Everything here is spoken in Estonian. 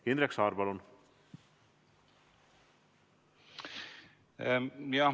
Indrek Saar, palun!